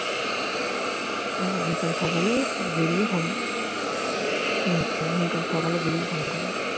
আমি কাল সকালে বেরিয়ে phone আমি কাল সকালে বেরিয়ে phone করবো